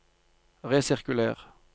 resirkuler